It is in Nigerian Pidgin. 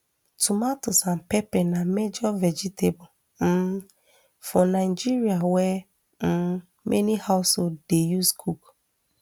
tomatoes and pepper na major vegetable um for nigeria wey um many households dey use cook